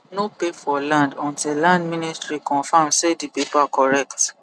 no pay for land until land ministary confirm say the paper correct